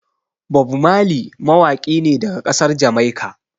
Bob Marley mawaƙi ne daga ƙasar Jamaika.